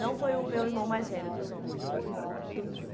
Não foi o meu irmão mais velho dos homens, foi o o do meio.